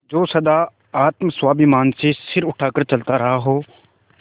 जो सदा आत्माभिमान से सिर उठा कर चलता रहा हो